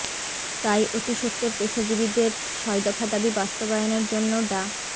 তাই অতিসত্বর পেশাজীবীদের ছয় দফা দাবি বাস্তবায়নের জন্য ডা